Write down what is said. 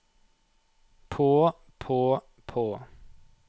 på på på